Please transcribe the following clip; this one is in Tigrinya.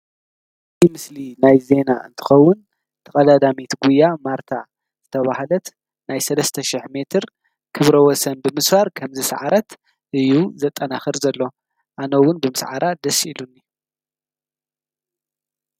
ዲ ምስሊ ናይ ዜና እንትኸውን ተቐዳዳሜቲ ጕያ ማርታ ዘተብህለት ናይ ሠስተሽሕ ሜትር ኽብረወሰን ብምስባር ከምዝሠዓረት እዩ ዘጠናኽር ዘሎ ኣነውን ብምስዓራ ደስ ኢሉኒ እዩ።